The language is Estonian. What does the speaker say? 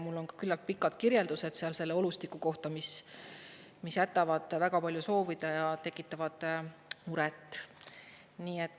Mul on küllalt pikad kirjeldused sealse olustiku kohta, mis mis jätab väga palju soovida ja tekitab muret.